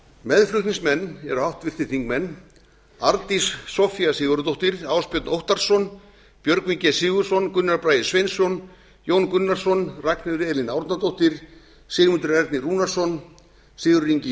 meðflutningsmenn eru háttvirtir þingmenn arndís soffía sigurðardóttir ásbjörn óttarsson björgvin g sigurðsson gunnar bragi sveinsson jón gunnarsson ragnheiður e árnadóttir sigmundur ernir rúnarsson sigurður ingi